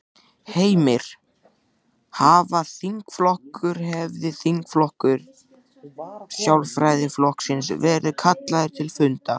Heimir: Hafa þingflokkur, hefur þingflokkur Sjálfstæðisflokksins verið kallaður til fundar?